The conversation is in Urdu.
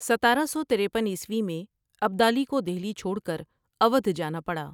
ستارہ سو ترپن عیسوی میں ابدالی کو دہلی چھوڑ کر اودھ جانا پڑا ۔